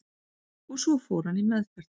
Og svo fór hann í meðferð